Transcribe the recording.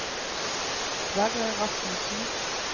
Sverre Rasmussen